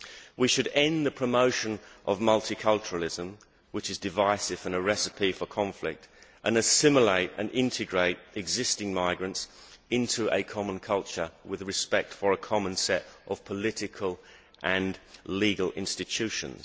We should end the promotion of multiculturalism, which is divisive and a recipe for conflict, and assimilate and integrate existing migrants into a common culture with respect for a common set of political and legal institutions.